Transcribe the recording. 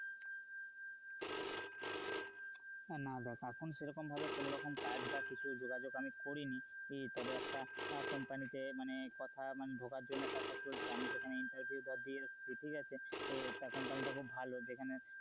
না দেখ এখন সেরকমভাবে কোনরকম কাজ বা কিছু যোগাযোগ আমি করিনি ই তবে একটা company তে মানে কথা মানে ঢোকার জন্য কথা চলছে আমি সেখানে interview ধর দিয়ে এসছি ঠিক আছে তা company টা খুব ভালো যেখানে,